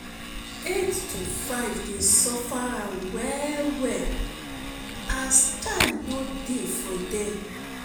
8-5 dey suffer am well well as time no dey for dem